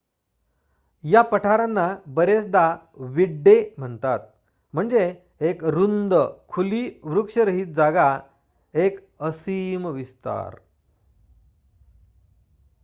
"या पठारांना बरेचदा "विड्डे" म्हणतात म्हणजे एक रुंद खुली वृक्षरहित जागा एक असीम विस्तार.